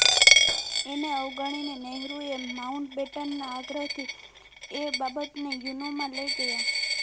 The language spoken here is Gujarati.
એને અવગણી નહેરુએ માઉન્ટબેટનના આગ્રહથી એ બાબતને યુનોમાં લઈ ગયા